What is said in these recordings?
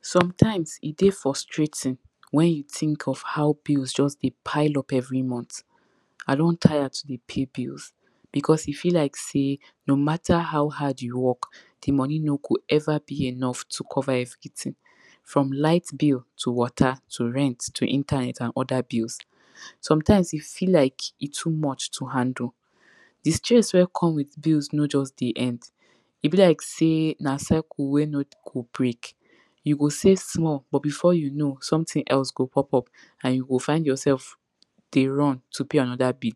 sometimes e dey frustrating when you think of how bills just de pile up every month I don taya to dey pay bills because e feel like say no mata how hard you work the money no go ever be enough to cover everything from light bill, to water, to rent, to internet and other bills sometimes e feel like e too much to handle the stress wey come with bills no just dey en e be like sey na cycle wey no go break you go save small but before you know, something else go pop up and you go find yourself dey run to pay another bill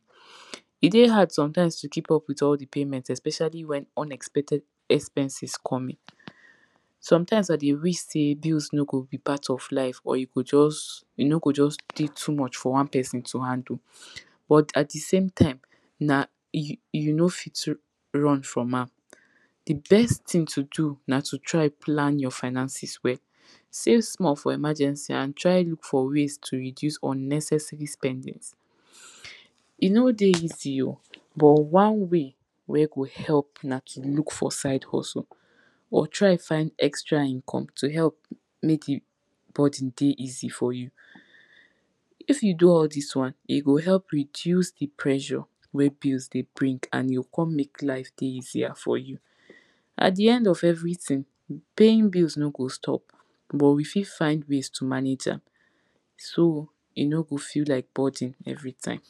e dey hard sometimes to keep up with all the payments especially when unexpected expenses come in sometimes I dey wish say bills no go be part of life or e go jus e nogo jus dey too much for one person to handle but at the same time na? you no fit run from am the best thing to do na to try plan your finances well save small for emergency and try look for ways to reduce unnecessary spending e no dey easy o but one way wey go help na to look for side hustle or try find extra income to help make the burden dey easy for you if you do all this one, e go help reduce the pressure wey bills dey bring and you go come make life dey easier for you at the end of everything, paying bills no go stop but we fit find ways to manage am so e no go feel like burden everytime